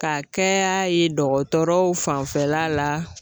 Ka kɛ y'a ye dɔgɔtɔrɔ fanfɛla la